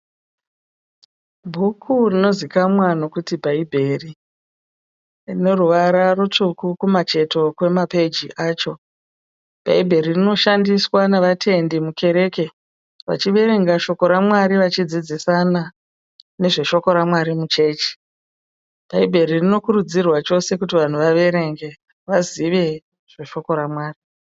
Bhuku rinozikamwa nokuti bhaibheri, rino ruvara rutsvuku kumacheto kwema peji acho, bhaibheri rinoshandiswa navatendi mukereke vachiverenga shoko raMwari vachidzidzisana nezve shoko raMwari muchechi, bhaibheri rinokurudzirwa chose kuti vanhu vaverenge vazive zve shoko raMwari.